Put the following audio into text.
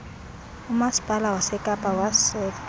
umaspala wasekapa waseka